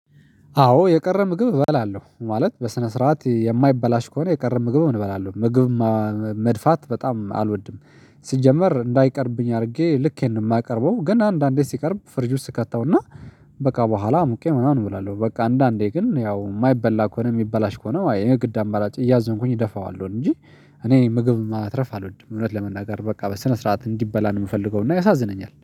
አዎ የቀረ ምግብ እበላለሁ ማለት በስነ ስርዓት የማይበላሽ ከሆነ የቀረ ምግብ እንበላለን ምግብ መድፋት በጣም አልወድም። ሲጀመር እንዳይቀርብኝ አድርጌ ልኬን ነው የማቀርበው ግን አንዳንዴ ሲቀርብ ፍሪጅ ውስጥ እከተውና በቃ በኋላ አሙቄ ምናምን እበላለሁ። በቃ አንዳንዴ ግን ያው የማይበላ ከሆነ የሚበላሽ ከሆነ የግድ አማራጭ እያዘንኩኝ እደፋዋለሁ እንጂ እኔ ምግብ ማትረፍ አልወድም። እውነት ለመናገር በቃ በስነ ስርዓት እንዲበላ ነው የምፈልገው እና ያሳዝነኛል